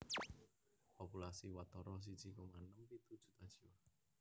Populasi watara siji koma enem pitu juta jiwa